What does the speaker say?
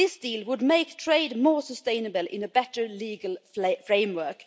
This deal would make trade more sustainable in a better legal framework.